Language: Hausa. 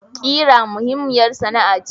Kira muhimmiyar sana'a ce.